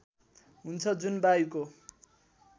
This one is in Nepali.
हुन्छ जुन वायुको